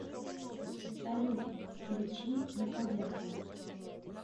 салют включи яковенко